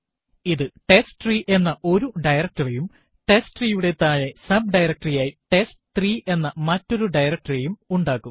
ഇത് ടെസ്റ്റ്രീ എന്ന ഒരു directory യും testtre യുടെ താഴെ sub ഡയറക്ടറി ആയി ടെസ്റ്റ്3 എന്ന മറ്റൊരു directory യും ഉണ്ടാക്കും